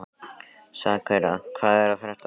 Sakura, hvað er að frétta?